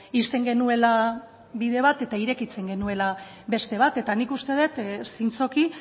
ixten genuela bide bat eta irekitzen genuela beste bat eta nik uste dut zintzoki